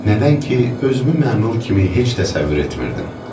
Nədən ki, özümü məmur kimi heç də təsəvvür etmirdim.